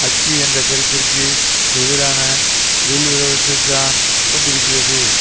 அச்சு என்ற கருத்திற்கு எதிரான உள்விரோதத்தைத்தான் கொண்டிருக்கிறது